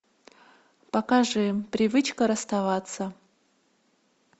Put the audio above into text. покажи привычка расставаться